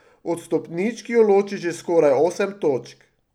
Od stopničk jo loči že skoraj osem točk.